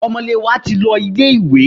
Ọmọ ilé wa ti lọ ilé ìwé.